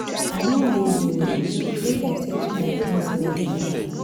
i wan go village make i settle my kinsmen matter